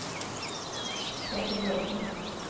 Peter Bråthen